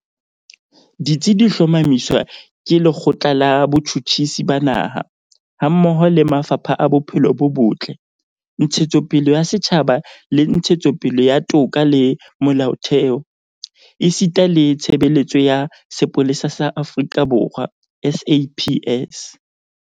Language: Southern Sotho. Ditsi di hlomamiswa ke Le kgotla la Botjhutjhisi ba Naha, hammoho le mafapha a Bophelo bo Botle, Ntshetsopele ya Setjhaba le Ntshetsopele ya Toka le Molaotheo, esita le Tshebeletso ya Sepolesa sa Aforika Borwa SAPS.